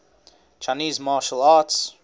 chinese martial arts